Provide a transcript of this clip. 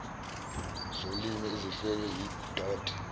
zolimi ezihlelwe yidod